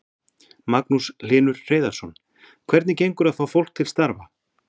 Magnús Hlynur Hreiðarsson: Hvernig gengur að fá fólk til starfa?